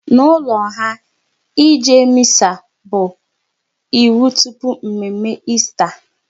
N'ụlọ ha, ịje Missa bụ iwu tupu mme mme Esta